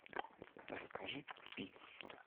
а закажи пиццу